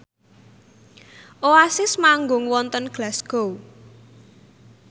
Oasis manggung wonten Glasgow